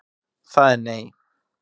Það er nei.